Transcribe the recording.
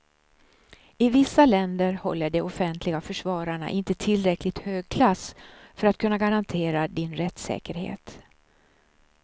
I vissa länder håller de offentliga försvararna inte tillräckligt hög klass för att kunna garantera din rättssäkerhet.